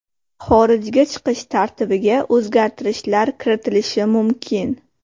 Xorijga chiqish tartibiga o‘zgartirishlar kiritilishi mumkin.